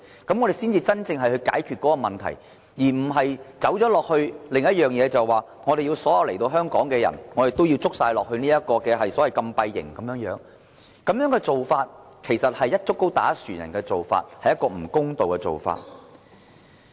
這才能夠真正解決問題，而非走到另一個方向，把所有來港人士關閉在禁閉營。這種做法其實是"一竹篙打一船人"，是一種不公道的做法。